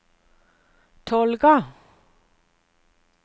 Tolga